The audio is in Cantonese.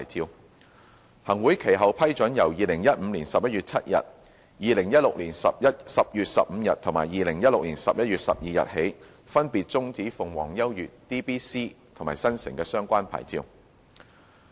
行政長官會同行政會議其後批准由2015年11月7日、2016年10月15日及2016年11月12日起，分別終止鳳凰優悅、DBC 及新城的相關牌照。